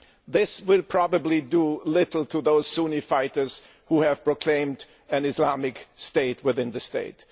This will probably do little to those Sunni fighters who have proclaimed an Islamic state within the state.